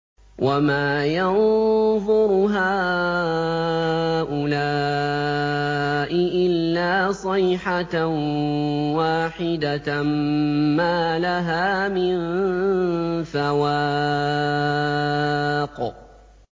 وَمَا يَنظُرُ هَٰؤُلَاءِ إِلَّا صَيْحَةً وَاحِدَةً مَّا لَهَا مِن فَوَاقٍ